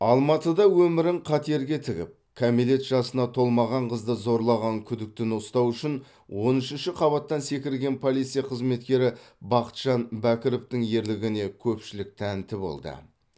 алматыда өмірін қатерге тігіп кәмелет жасына толмаған қызды зорлаған күдіктіні ұстау үшін он үшінші қабаттан секірген полиция қызметкері бақытжан бәкіровтің ерлігіне көпшілік тәнті болды